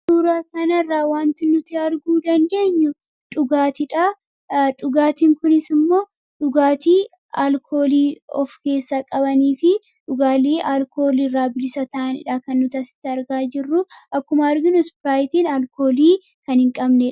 Suuraa kanarraa wanti nuti arguu dandeenyu, dhugaatii dhaa. Dhugaatiin kunis immoo, dhugaatii alkoolii of keessaa qabanii fi dhugaatii alkoolii irraa bilisa ta'anii dha kan nuti asitti argaa jirru. Akkuma arginu Ispiraayitiin alkoolii kan hin qabnee dha.